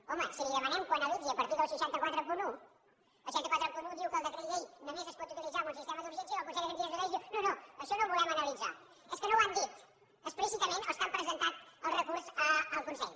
home si li demanem que ho analitzi a partir del sis cents i quaranta un el sis cents i quaranta un diu que el decret llei només es pot utilitzar en un sistema d’urgència però el consell de garanties estatutàries diu no no això no ho volem analitzar és que no ho han dit explícitament els que han presentat el recurs al consell